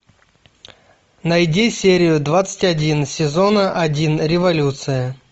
найди серию двадцать один сезона один революция